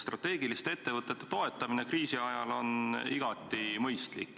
Strateegiliste ettevõtete toetamine kriisi ajal on igati mõistlik.